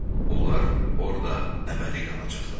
Onlar orda əbədi qalacaqlar.